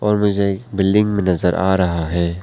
और मुझे बिल्डिंग भी नजर आ रहा है।